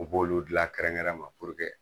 U b'olu dilan kɛrɛnkɛrɛn ma